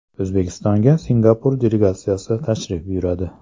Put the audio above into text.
O‘zbekistonga Singapur delegatsiyasi tashrif buyuradi.